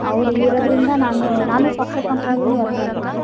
ಅವ್ರ್ ಇಲ್ಲಿ ಇರೋದ್ರಿಂದ ನಾನು ನಾನು software company ಲಿ work ಮಾಡ್ತಿದ್ದೆ.